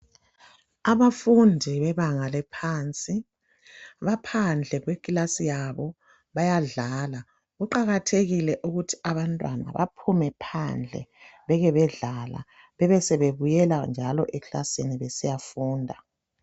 Abafundi bebanga laphansi, baphadle kwekilasi yabo, bayadlala. Kuqakathekile ukuthi abantwana baphume phandle bekhe bedlale bebe sebebuyela njalo ekilasini besiyafunda.